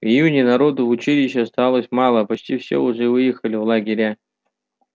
в июне народу в училище осталось мало почти все уже выехали в лагеря